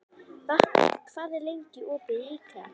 Vápni, hvað er lengi opið í IKEA?